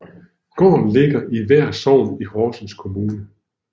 Gården ligger i Vær Sogn i Horsens Kommune